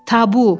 Tabu!